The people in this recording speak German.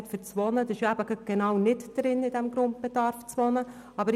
Das Geld für die Miete ist aber im Grundbedarf nicht inbegriffen.